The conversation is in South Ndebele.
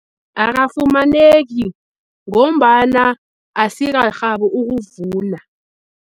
Akafumaneki ngombana asikarhabi ukuvuna.